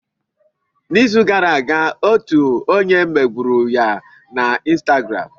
N'izu gara aga, otu onye megburu ya na Instagramu.